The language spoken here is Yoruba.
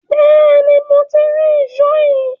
Bẹ́ẹ̀ ni, mo ti rí ìṣó yín